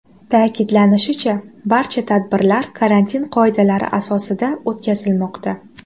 Ta’kidlanishicha, barcha tadbirlar karantin qoidalari asosida o‘tkazilmoqda.